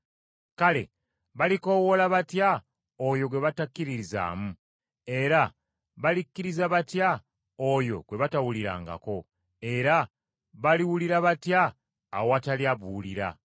Kale balikoowoola batya oyo gwe batakkiririzaamu? Era balikkiriza batya oyo gwe batawulirangako? Era baliwulira batya awatali abuulira?